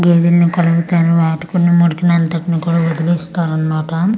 గేదిల్ని కలుగుతారు వాటికి ఉన్న మురికిని అంతా కూడా వదిలిస్తారు అన్నమాట.